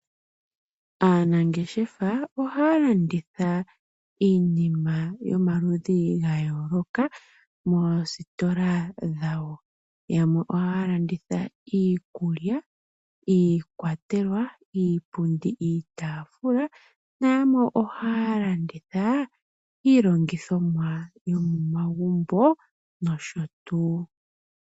Aanangeshefa ohaya landitha iinima yomaludhi gayooloka . Moositola dhawo yamwe ohaya landitha iikulya , iikwatelwa , iipundi , iitaafula na yamwe ohaya landitha iilongithomwa yomomagumbo nosho tuu .